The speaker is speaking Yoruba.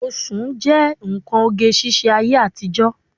Oṣùn jẹ́ nǹkan oge ṣíṣe ayé àtijọ́